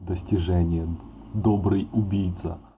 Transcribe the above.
достижения добрый убийца